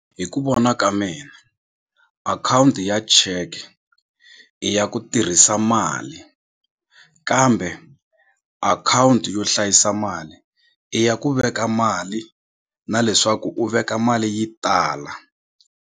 Hi ku vona ka mina akhawunti ya cheke i ya ku tirhisa mali kambe akhawunti yo hlayisa mali i ya ku veka mali na leswaku u veka mali yi tala.